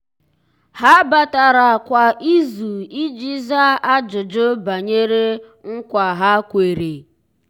há batara kwa ìzù iji zàá ájụ́jụ́ banyere nkwa ha kwèrè.